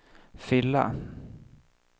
fylla